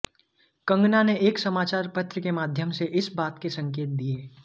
कंगना ने एक समाचार पत्र के माध्यम से इस बात के संकेत दिए